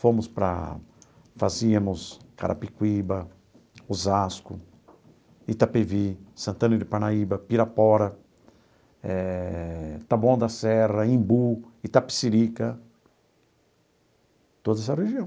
Fomos para... Fazíamos Carapicuíba, Osasco, Itapevi, Santana de Parnaíba, Pirapora eh, Taboão da Serra, Embu, Itapecerica, toda essa região.